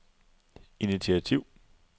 initiativ